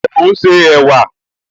Ṣé ò ún ṣe ẹ̀wà?